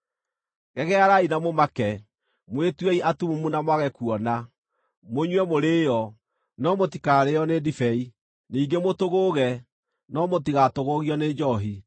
Gegearai na mũmake, mwĩtuei atumumu na mwage kuona; mũnyue mũrĩĩo, no mũtikarĩĩo nĩ ndibei, ningĩ mũtũgũũge, no mũtigatũgũũgio nĩ njoohi.